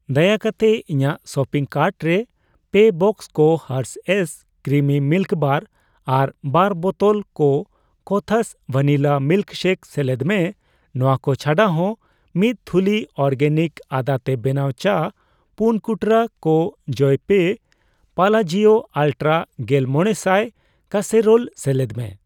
ᱫᱟᱭᱟ ᱠᱟᱛᱮ ᱤᱧᱟᱜ ᱥᱚᱯᱤᱝ ᱠᱟᱨᱴ ᱨᱮ ᱯᱮ ᱵᱟᱠᱥᱚ ᱠᱚ ᱦᱟᱨᱥᱷᱮᱭᱥ ᱠᱨᱤᱢᱤ ᱢᱤᱞᱠ ᱵᱟᱨ ᱟᱨ ᱵᱟᱨ ᱵᱚᱛᱚᱞ ᱠᱚ ᱠᱳᱛᱷᱟᱥ ᱵᱷᱟᱱᱤᱞᱟ ᱢᱤᱞᱠ ᱥᱮᱠ ᱥᱮᱞᱮᱫ ᱢᱮ ᱾ ᱱᱚᱣᱟ ᱠᱚ ᱪᱷᱟᱰᱟ ᱦᱚ, ᱢᱤᱛ ᱛᱷᱩᱞᱤ ᱚᱨᱜᱮᱱᱤᱠᱟ ᱟᱫᱟ ᱛᱮ ᱵᱮᱱᱟᱣ ᱪᱟ, ᱯᱩᱱ ᱠᱩᱴᱨᱟᱹ ᱠᱚ ᱡᱚᱭᱯᱮᱮ ᱯᱟᱞᱟᱡᱤᱭᱳ ᱟᱞᱴᱨᱟ ᱜᱮᱞᱢᱚᱲᱮᱥᱟᱭ ᱠᱟᱥᱥᱮᱨᱳᱞ ᱥᱮᱞᱮᱫ ᱢᱮ᱾